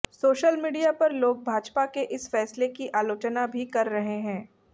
social media पर लोग भाजपा के इस फैसले की आलोचना भी कर रहे हैं